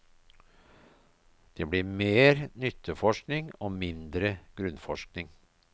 Det blir mer nytteforskning og mindre grunnforskning.